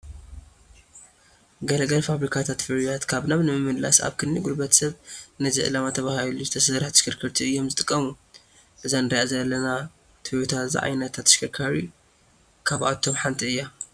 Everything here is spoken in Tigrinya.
ገለ ገለ ፋብሪካታት ፍርያት ካብ ናብ ንምምላስ ኣብ ክንዲ ጉልበት ሰብ ነዚ ዕላማ ተባሂላ ዝተሰርሓ ተሽከርከርቲ እዮም ዝጥቀሙ፡፡ እዛ ንሪኣ ዘለና ቶዮታ ዝዓይነታ ተሽከርካሪ ካብኣቶም ሓንቲ እያ፡፡